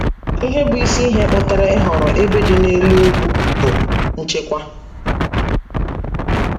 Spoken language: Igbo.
Ihe bụ isi ihe kpatara ịhọrọ ebe dị n’elu ugwu bụ nchekwa.